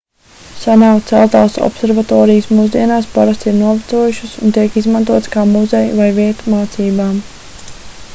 senāk celtās observatorijas mūsdienās parasti ir novecojušas un tiek izmantotas kā muzeji vai vieta mācībām